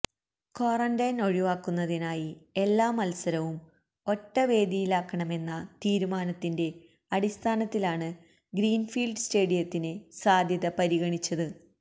quarantine ഒഴിവാക്കുന്നതിനായി എല്ലാ മൽസരവും ഒറ്റ വേദിയിലാക്കണമെന്ന തീരുമാനത്തിന്റെ അടിസ്ഥാനത്തിലാണ് ഗ്രീൻഫീൽഡ് സ്റ്റേഡിയത്തിന് സാധ്യത പരിഗണിച്ചത്